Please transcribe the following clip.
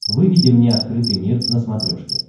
выведи мне открытый мир на смотрешке